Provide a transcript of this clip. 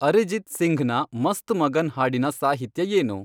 ಅರಿಜಿತ್ ಸಿಂಘ್ನ ಮಸ್ತ್ ಮಗನ್ ಹಾಡಿನ ಸಾಹಿತ್ಯ ಏನು